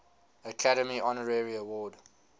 academy honorary award